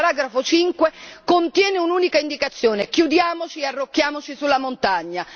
5. Il paragrafo 5 contiene un'unica indicazione chiudiamoci e arrocchiamoci sulla montagna.